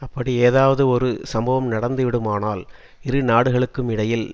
அப்படி ஏதாவதொரு சம்பவம் நடந்து விடுமானால் இரு நாடுகளுக்குமிடையில்